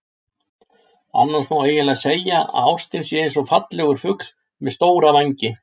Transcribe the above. Annars má eiginlega segja að ástin sé eins og fallegur fugl með stóra vængi.